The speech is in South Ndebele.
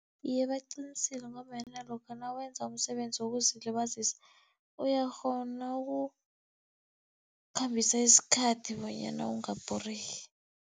Iye, baqinisile ngombana lokha nawenza umsebenzi wokuzilibazisa, uyakghona ukukhambisa isikhathi bonyana ungabhoreki.